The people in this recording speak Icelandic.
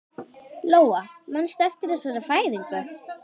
Lóa: Manstu eftir þessari fæðingu?